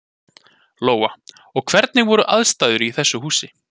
Lóa: Og hvernig voru aðstæður í þessu húsi?